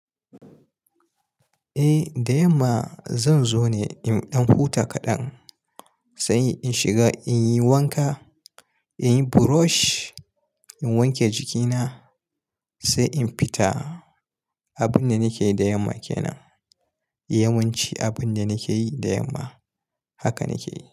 Eh, da yamma zan zo ne in ɗan huta kaɗan sai in shiga in yi wanka, in yi brush, in wanke jikina sai in fita. Abin da nake yi da yamma kenan. Yawanci abin da nake yi da yamma haka nake yi.